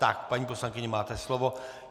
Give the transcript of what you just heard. Tak, paní poslankyně, máte slovo.